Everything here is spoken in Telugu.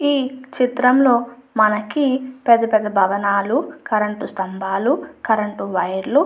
ఈ చిత్రంలో మనకి పెద్ద పెద్ద భవనాలు కరెంటు స్తంభాలు కరెంటు వైర్ లు --